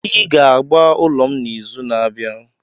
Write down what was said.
Ị ga agba ụlọ m n'izu na-abịa!